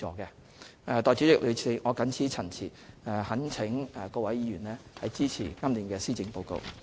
代理主席，我謹此陳辭，懇請各位議員支持今年的施政報告。